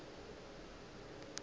go na le seo se